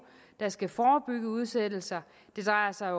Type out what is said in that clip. der skal forebygge udsættelse det drejer sig